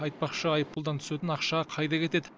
айтпақшы айыппұлдан түсетін ақша қайда кетеді